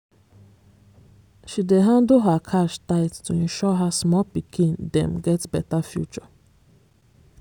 she dey handle her cash tight to ensure her small pikin dem get better future.